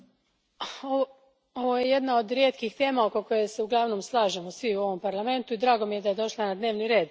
Gospodine predsjedniče, ovo je jedna od rijetkih tema oko koje se uglavnom slažemo svi u ovom Parlamentu i drago mi je da je došla na dnevni red.